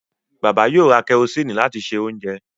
Bàbá yóò ra kẹrosíìnì láti se oúnjẹ